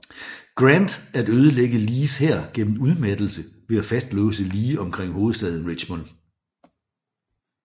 Grant at ødelægge Lees hær gennem udmattelse ved at fastlåse Lee omkring hovedstaden Richmond